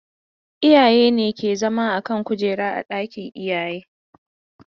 Iyaye ne ke zama a kan kujera a ɗakin iyaye.